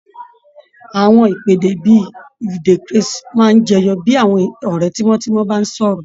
Àwọn ìpèdè bí i "you dey crase" máa ń jẹyọ bí àwọn ọ̀rẹ́ tímọ́tímọ́ bá ń sọ̀rọ̀